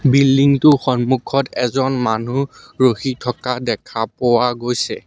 Building টোৰ সন্মুখত এজন মানুহ ৰখি থকা দেখা পোৱা গৈছে।